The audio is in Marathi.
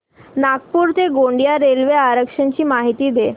नागपूर ते गोंदिया रेल्वे आरक्षण ची माहिती दे